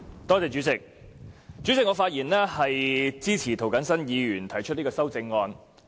代理主席，我發言支持涂謹申議員提出的修正案。